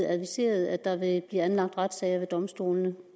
adviseret at der vil blive anlagt retssager ved domstolene